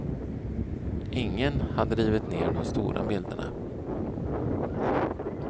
Ingen hade rivit ner de stora bilderna.